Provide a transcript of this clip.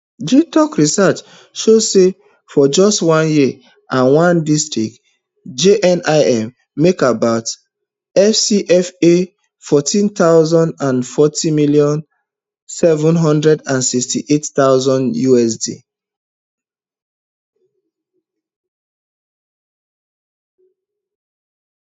gitoc research show say for just one year and one district jnim make about fcfa four hundred and forty million seven hundred and sixty-eight thousand usd